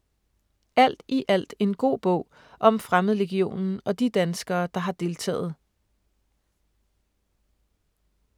Alt i alt en god bog om Fremmedlegionen og de danskere, der har deltaget.